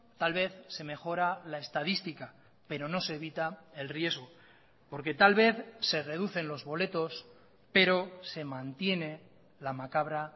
tal vez se mejora la estadística pero no se evita el riesgo porque tal vez se reducen los boletos pero se mantiene la macabra